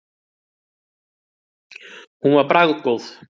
Hún var bragðgóð.